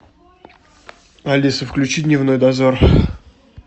алиса включи дневной дозор